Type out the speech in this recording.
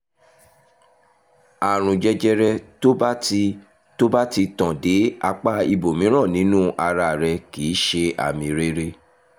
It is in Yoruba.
àrùn jẹjẹrẹ tó bá ti tó bá ti tàn dé apá ibòmíràn nínú ara kì í ṣe àmì rere